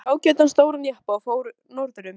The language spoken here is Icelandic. Nú langar yður að lafa í embætti?